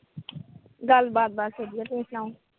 ਗੱਲਬਾਤ ਬਸ ਵਧੀਆ। ਤੁਸੀਂ ਸੁਣਾਉ।